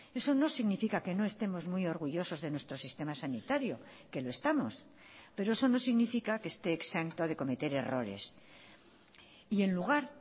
eso no significa que no estemos muy orgullosos de nuestro sistema sanitario que lo estamos pero eso no significa que esté exento de cometer errores y en lugar